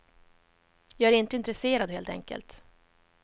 Jag är inte intresserad helt enkelt.